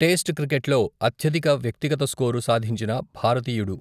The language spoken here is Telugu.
టేస్ట్ క్రికెట్లో అత్యధిక వ్యక్తిగత స్కోరు సాధించిన భారతీయుడు.